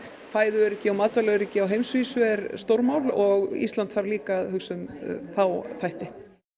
fæðuöryggi og matvælaöryggi á heimsvísu er stórmál og Ísland þarf líka að hugsa um þá þætti